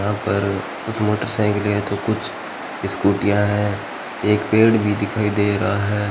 यहां पर कुछ मोटरसाइकिले है तो कुछ स्कूटियाँ है एक पेड़ भी दिखाई दे रहा है।